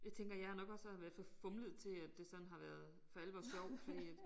Jeg tænker jeg har nok også havde været for fumlet til at det sådan har for alvor været sjovt fordi at